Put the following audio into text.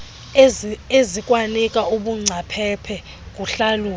ezikwanika ubungcaphephe kuhlalutyo